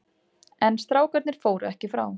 En strákarnir fóru ekki frá.